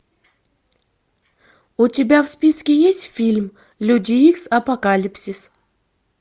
у тебя в списке есть фильм люди икс апокалипсис